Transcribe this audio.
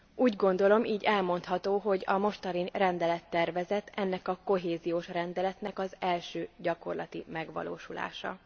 Úgy gondolom így elmondható, hogy a mostani rendelettervezet ennek a kohéziós rendeletnek az első gyakorlati megvalósulása.